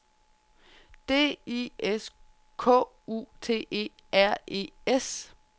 D I S K U T E R E S